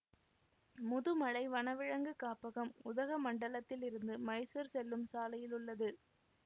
முதுமலை வனவிலங்கு காப்பகம் உதகமண்டலத்ததிலிருந்து மைசூர் செல்லும் சாலையில் உள்ளது